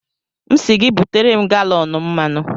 M sị gị butere m galọn mmanụ.